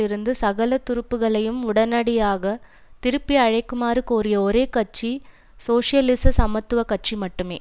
இருந்து சகல துருப்புக்களையும் உடனடியாக திருப்பியழைக்குமாறு கோரிய ஒரே கட்சி சோசியலிச சமத்துவ கட்சி மட்டுமே